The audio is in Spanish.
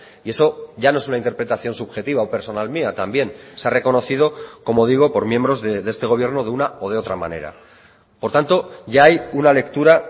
y eso ya no es una interpretación subjetiva o personal mía también se ha reconocido como digo por miembros de este gobierno de una o de otra manera por tanto ya hay una lectura